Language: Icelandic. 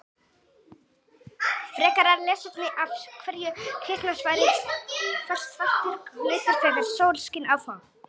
Frekara lesefni: Af hverju hitna svartir hlutir þegar sól skín á þá?